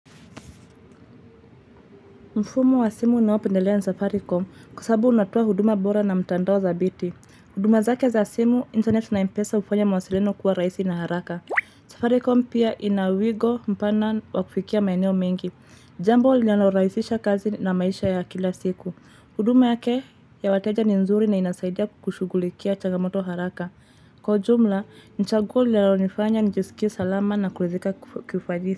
Mfumo wa simu ninaopendelea ni safaricom kwa sabu unatowa huduma bora na mtandao dhabiti. Huduma zake za simu, internet na mpesa ufanya mawasiliano kuwa raisi na haraka. Safaricom pia ina wigo mpana wa kufikia maeneo mengi. Jambo linalo raisisha kazi na maisha ya kila siku. Huduma yake ya wateja ni nzuri na inasaidia kushugulikia changamoto haraka. Kwa ujumla, chaguo linayo nifanya njisikie salama na kuezeka kufajisi.